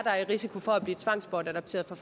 er i risiko for at blive tvangsbortadopteret for